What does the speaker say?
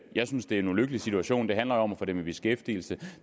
jeg synes det er en ulykkelig situation det handler om at få dem i beskæftigelse